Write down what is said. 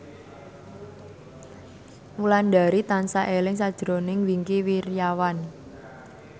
Wulandari tansah eling sakjroning Wingky Wiryawan